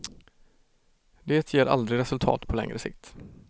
Det ger aldrig resultat på längre sikt.